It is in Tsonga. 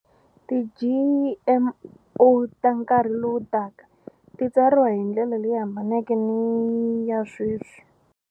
Ti-G_M_O ta nkarhi lowu taka ti tsariwa hindlela leyi hambaneke ni ya sweswi.